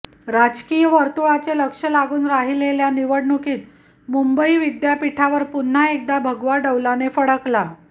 राजकीय वर्तुळाचे लक्ष लागून राहिलेल्या निवडणुकीत मुंबई विद्यापीठावर पुन्हा एकदा भगवा डौलाने फडकला